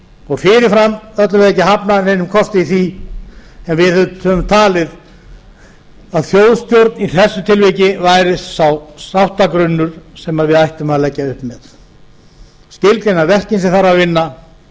og fyrirfram ætlum við ekki að hafna neinum kosti í því en við höfum talið að þjóðstjórn í þessu tilviki væri sá sáttagrunnur sem við ættum að leggja upp með skilgreina verkin sem þarf að vinna